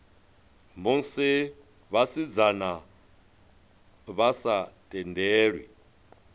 musi vhasidzana vha sa tendelwi